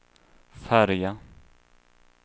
färja